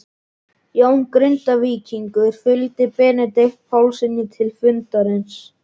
Jón Grindvíkingur fylgdi Benedikt Pálssyni til fundarins.